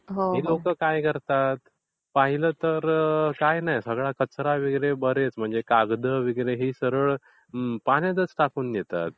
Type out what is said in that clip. हे लोक काय करतात? पाहिलं तर सगळं कचरा वगैरे बरेच म्हणजे कागद , बिगद हे सगळं पाण्यातच टाकून देतात.